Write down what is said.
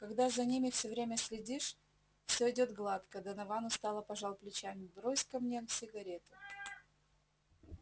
когда за ними всё время следишь всё идёт гладко донован устало пожал плечами брось-ка мне сигарету